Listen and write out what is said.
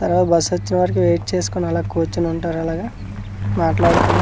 ఎలగో బస్సొచ్చే వరకు వెయిట్ చేస్కోని అలా కూర్చొనుంటారు అలాగ మాట్లాడుకొని--